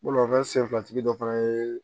Bolimafɛn senfilatigi dɔ fana ye